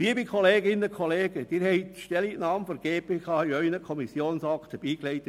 Liebe Kolleginnen und Kollegen, Sie haben die Stellungnahme der GPK mit Ihren Kommissionsakten erhalten.